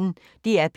DR P1